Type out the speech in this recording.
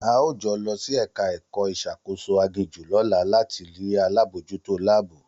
A óò jọ lọ sí ẹ̀ka ẹ̀kọ́ ìṣàkóso aginjù lọ́la láti rí alábòójútó láàbù